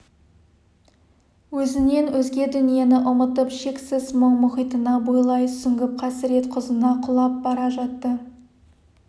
өзінен өзге дүниені ұмытып шексіз мұң мұхитына бойлай сүңгіп қасірет құзына құлап бара жатты